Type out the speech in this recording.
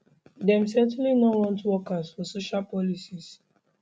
dem certainly no want wokers for social policies